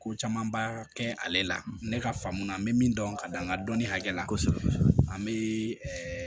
Ko camanba kɛ ale la ne ka faamu na n bɛ min dɔn ka da n ka dɔnni hakɛ la kosɛbɛ an bɛ